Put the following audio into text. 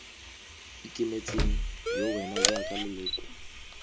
ikemetseng yo wena jaaka leloko